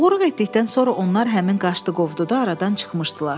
Oğurluq etdikdən sonra onlar həmin qaşdı-qovdu da aradan çıxmışdılar.